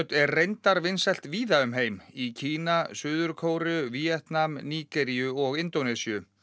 er reyndar vinsælt víða um heim í Kína Suður Kóreu Víetnam Nígeríu og Indónesíu